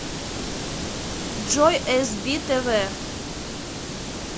джой эс би тэ вэ